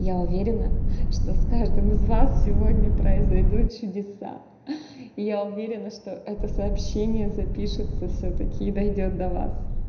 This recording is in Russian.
я уверена что с каждым из вас сегодня произойдут чудеса я уверена что это сообщение запишется всё-таки и дойдёт до вас